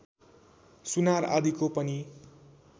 सुनार आदिको पनि